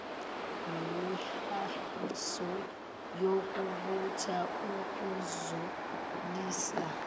nemihahiso yokubutha ukuzalisa